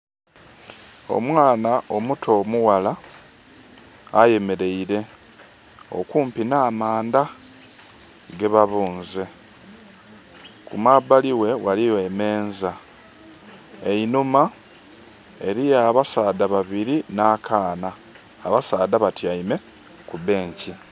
Omwana omuto omughala ayemereire okumpi n' amandha gebabunze. Kumabali we waliwo emeza. Einhuma eriyo abasaadha babiri na kaana. Abasaadha batiame ku benki